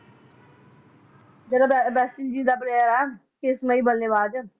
ਜਿਹੜਾ West Indies ਦਾ player ਆ ਕ੍ਰਿਸ਼ਮਈ ਬੱਲੇਬਾਜ